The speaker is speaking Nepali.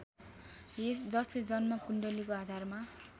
जसले जन्म कुण्डलीको आधारमा